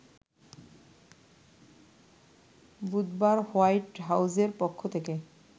বুধবার হোয়াইট হাউজের পক্ষ থেকে